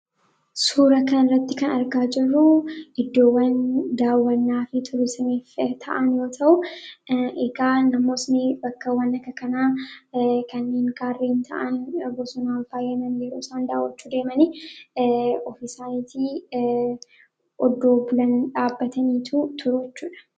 suura kan irratti kan argaa jeruu iddoowwan daawannaa fi turisamiif ta'an yoo ta'u egaa namoosni bakkawwan aka kanaa kaniin kaarreen ta'an bosunaan faayyaman yeruosandaawwachuu deemanii ofisaanitii oddoo bulan dhaabataniitu turachuudha